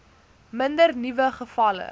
minder nuwe gevalle